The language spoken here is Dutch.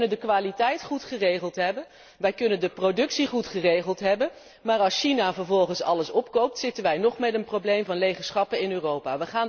Wij kunnen de kwaliteit goed geregeld hebben, wij kunnen de productie goed geregeld hebben, maar als China vervolgens alles opkoopt, zitten wij nog met een probleem van lege schappen in Europa.